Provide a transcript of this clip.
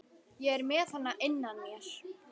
Ég er með hana innan á mér.